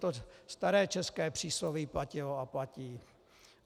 To staré české přísloví platilo a platí.